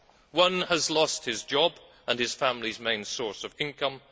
One has lost his job and his family's main source of income.